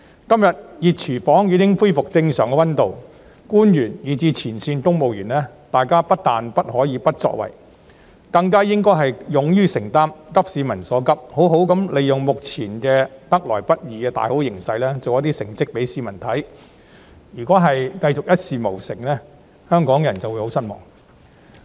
今天，"熱廚房"已經恢復正常溫度，官員以至前線公務員，大家不但不可以不作為，更應該勇於承擔責任，急市民所急，好好地利用目前得來不易的大好形勢，給市民做出一點成績；假如仍然一事無成，香港人便會十分失望。